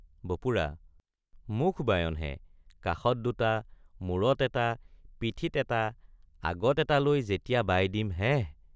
বপুৰা—মুখ বায়ন হে কাষত দুটা মূৰত এটা পিঠিত এটা আগত এটা লৈ যেতিয়া বাই দিম হেঃ।